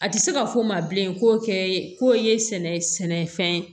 A tɛ se ka fɔ ma bilen k'o kɛ k'o ye sɛnɛfɛn ye